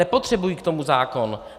Nepotřebují k tomu zákon.